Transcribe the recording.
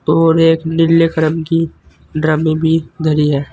और एक नीले करम की ड्रमी भी धरी है।